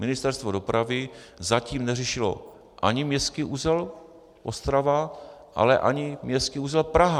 Ministerstvo dopravy zatím neřešilo ani městský uzel Ostrava, ale ani městský uzel Praha.